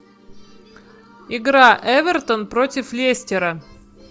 игра эвертон против лестера